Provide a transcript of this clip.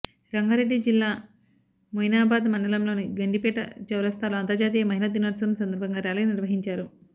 రంగారెడ్డి జిల్లా మొయినాబాద్ మండలంలోని గండిపేట చౌరస్తాలో అంతర్జాతీయ మహిళా దినోత్సవం సందర్భంగా ర్యాలీ నిర్వహించారు